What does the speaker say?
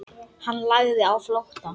Hann lagði á flótta.